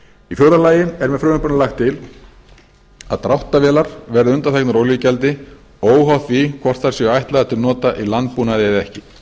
í fjórða lagi er með frumvarpinu lagt til að dráttarvélar verði undanþegnar olíugjaldi óháð því hvort þær eru ætlaðar til nota í landbúnaði eða ekki